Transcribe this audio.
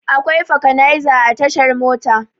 Akwai fakanaiza a tashar Mota.